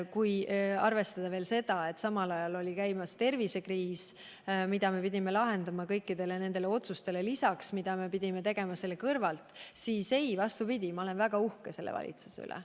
Kui arvestada seda, et samal ajal oli ka tervisekriis, mida me pidime lahendama kõikide nende otsuste kõrvalt, siis ei, vastupidi, ma olen väga uhke selle valitsuse üle.